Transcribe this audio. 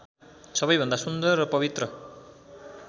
सबैभन्दा सुन्दर र पवित्र